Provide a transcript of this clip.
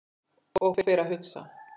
Og fer að hugsa